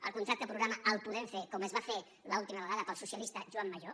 el contracte programa el podem fer com es va fer l’última vegada pel socialista joan majó